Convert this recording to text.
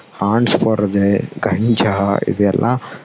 hans போடுறது கஞ்சா இது எல்லாம்